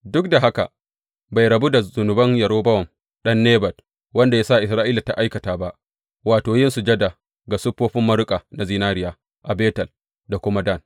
Duk da haka, bai rabu da zunuban Yerobowam ɗan Nebat, wanda ya sa Isra’ila ta aikata ba, wato, yin sujada ga siffofin maruƙa na zinariya a Betel da kuma Dan.